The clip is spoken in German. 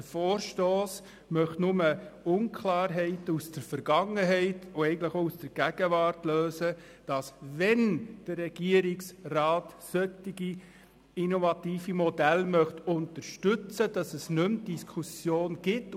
Der Vorstoss möchte lediglich Unklarheiten aus der Vergangenheit und eigentlich auch aus der Gegenwart lösen, damit es dann, wenn der Regierungsrat solche innovative Modelle unterstützen möchte, keine Diskussionen mehr gibt.